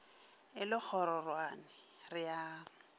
e le kgororwane re a